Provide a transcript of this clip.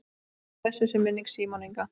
Blessuð sé minning Símonar Inga.